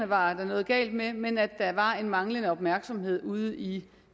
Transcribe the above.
var noget galt med reglerne men at der var en manglende opmærksomhed ude i